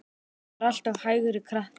Hann var alltaf hægri krati!